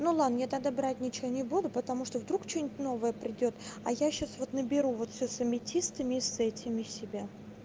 ну ладно я тогда брать ничего не буду потому что вдруг что-нибудь новое придёт а я сейчас вот наберу вот с аметистами и с этими себя